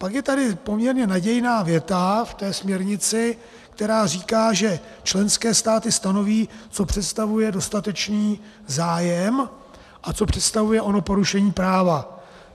Pak je tady poměrně nadějná věta v té směrnici, která říká, že členské státy stanoví, co představuje dostatečný zájem a co představuje ono porušení práva.